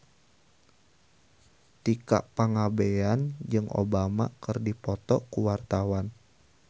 Tika Pangabean jeung Obama keur dipoto ku wartawan